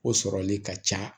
O sɔrɔli ka ca